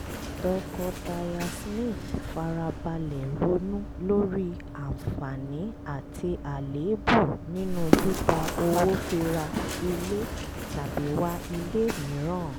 tọkọtaya smith fara balẹ̀ ronú lórí àǹfààní àti àléébù nínú gbígba owó fi ra ilé tàbí wá ilé mìíràn